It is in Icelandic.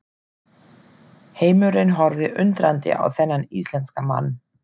Heimurinn horfði undrandi á þennan íslenska mann.